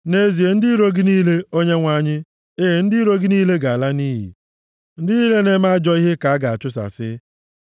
Nʼezie, ndị iro gị niile, Onyenwe anyị, e ndị iro gị niile ga-ala nʼiyi; ndị niile na-eme ajọ ihe ka a ga-achụsasị.